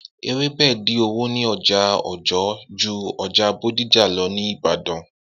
Ewebẹ din owo ni oja ọjọ ju ọjà Bódìjà lọ ni Ìbàdàn